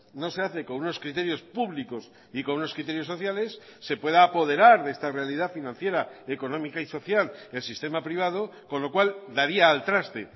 no se hace con unos criterios públicos y con unos criterios sociales se pueda apoderar de esta realidad financiera económica y social el sistema privado con lo cual daría al traste